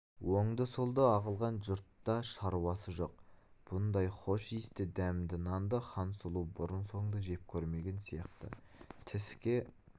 оңды-солды ағылған жұртта шаруасы жоқ бұндай хош иісті дәмді нанды хансұлу бұрын-соңды жеп көрмеген сияқты тіске